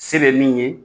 Se bɛ min ye